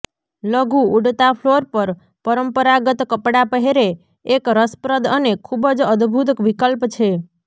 લઘુ ઉડતા ફ્લોર પર પરંપરાગત કપડાં પહેરે એક રસપ્રદ અને ખૂબ જ અદભૂત વિકલ્પ છે